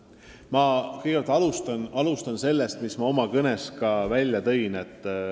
Ma kõigepealt alustan sellest, mis ma oma kõnes ka välja tõin.